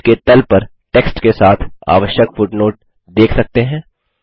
आप पेज के तल पर टेक्स्ट के साथ आवश्यक फुटनोट देख सकते हैं